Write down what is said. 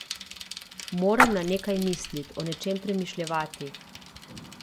Moram na nekaj mislit, o nečem premišljevati.